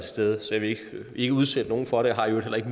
stede så jeg vil ikke udsætte nogen for det og har i øvrigt heller ikke